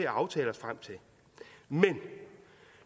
aftale men